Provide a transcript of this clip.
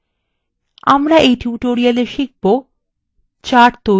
আমরা in tutorial শিখব :